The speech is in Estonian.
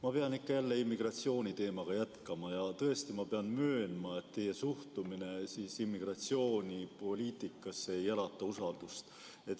Ma pean ikka ja jälle immigratsiooniteemat jätkama ja tõesti, ma pean möönma, et teie suhtumine immigratsioonipoliitikasse ei ärata usaldust.